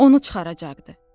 Onu çıxaracaqdı.